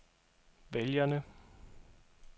vælgerne